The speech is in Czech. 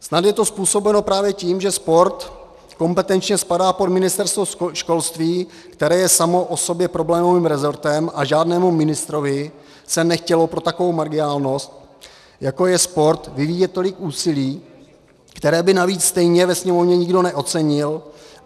Snad je to způsobeno právě tím, že sport kompetenčně spadá pod Ministerstvo školství, které je samo o sobě problémových rezortem, a žádnému ministrovi se nechtělo pro takovou marginálnost, jako je sport, vyvíjet tolik úsilí, které by navíc stejně ve Sněmovně nikdo neocenil.